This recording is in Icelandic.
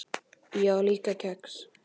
Ég á líka kex.